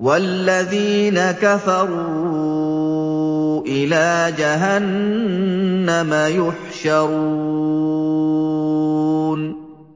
وَالَّذِينَ كَفَرُوا إِلَىٰ جَهَنَّمَ يُحْشَرُونَ